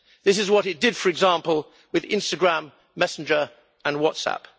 This is what it did, for example, with Instagram, Messenger and WhatsApp.